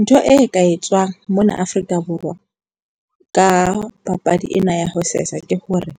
Ntho e ka etswang mona Afrika Borwa ka papadi ena ya ho sesa ke hore